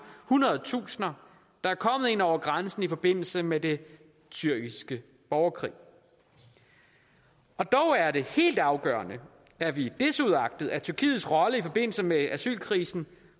hundredtusinder der er kommet ind over grænsen i forbindelse med den syriske borgerkrig og dog er det helt afgørende at vi desuagtet tyrkiets rolle i forbindelse med asylkrisen